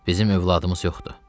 Bizim övladımız yoxdur.